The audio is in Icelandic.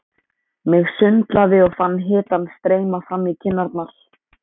Mig sundlaði og fann hitann streyma fram í kinnarnar.